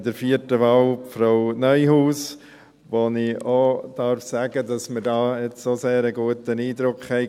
Bei der vierten Wahl unterstützen wir Frau Neuhaus, und ich darf hier sagen, dass wir einen sehr guten Eindruck hatten.